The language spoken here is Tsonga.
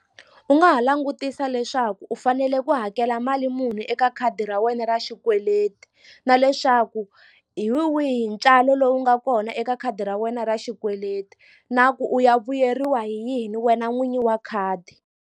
U nga ha langutisa leswaku u fanele ku hakela mali muni eka khadi ra wena ra xikweleti na leswaku hi wihi ntswalo lowu nga kona eka khadi ra wena ra xikweleti na ku u ya vuyeriwa hi yini wena n'winyi wa khadi.